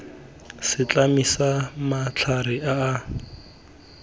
setlami sa matlhare a a